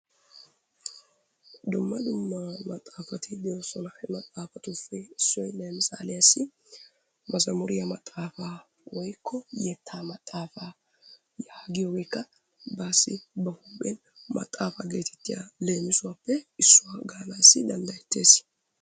Dumma dumma maxaafati de'oosona. He maxaafatussi issuwawu issuwa lemissaaliyassi: mazamuriya maxaafaa/yettaa maxaafaa yaagiyogeekka baassi ba huuphenkka maxaafa geetettiya leemisuwappe issuwa gaanaassi danddayettees.